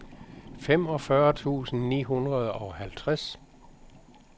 femogfyrre tusind ni hundrede og halvtreds